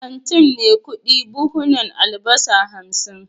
kantin maikudu buhunan albasa hamsin